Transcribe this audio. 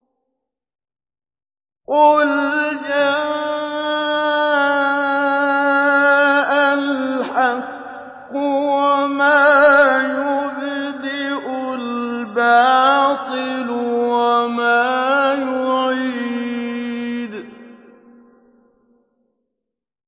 قُلْ جَاءَ الْحَقُّ وَمَا يُبْدِئُ الْبَاطِلُ وَمَا يُعِيدُ